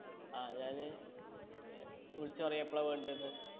ആ അത് ഞാൻ വിളിച്ച് പറയാ എപ്പളാ വേണ്ടെന്ന്